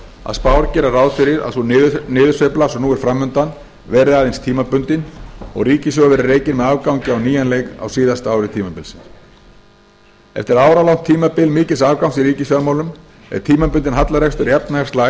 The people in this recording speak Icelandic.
að spár gera ráð fyrir að sú niðursveifla sem nú er framundan verði aðeins tímabundin og ríkissjóður verði rekinn með afgangi á nýjan leik á síðasta ári tímabilsins eftir áralangt tímabil mikils afgangs í ríkisfjármálum er tímabundinn hallarekstur í